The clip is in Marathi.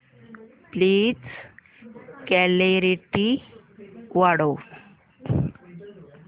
प्लीज क्ल्यारीटी वाढव